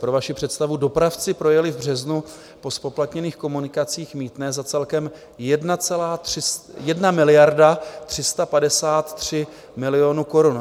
Pro vaši představu, dopravci projeli v březnu po zpoplatněných komunikacích mýtné za celkem 1 miliardu 353 milionů korun.